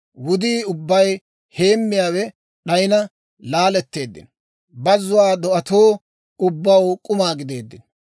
Wudii ubbay heemmiyaawe d'ayina laaletteeddino; bazzuwaa do'atoo ubbaw k'uma gideeddino.